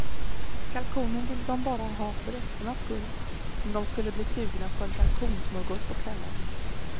Kalkonen ville de bara ha för resternas skull, om de skulle bli sugna på en kalkonsmörgås på kvällen.